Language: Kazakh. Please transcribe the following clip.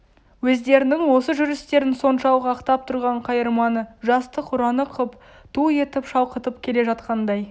өздерінің осы жүрістерін соншалық ақтап тұрған қайырманы жастық ұраны қып ту етіп шалқытып келе жатқандай